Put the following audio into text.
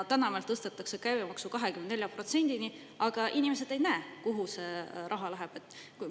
Täna meil tõstetakse käibemaksu 24%-ni, aga inimesed ei näe, kuhu see raha läheb.